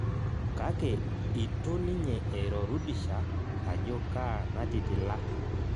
Kake itu ninye eiro Rudisha ajo kaa natitila